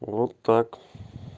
вот так